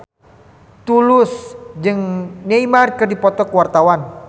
Tulus jeung Neymar keur dipoto ku wartawan